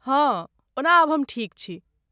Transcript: हँ, ओना आब हम ठीक छी।